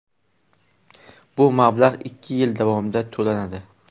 Bu mablag‘ ikki yil davomida to‘lanadi.